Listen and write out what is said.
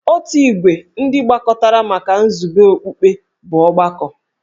Otu ìgwè ndị gbakọtara maka nzube okpukpe bụ ọgbakọ.